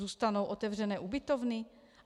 Zůstanou otevřené ubytovny?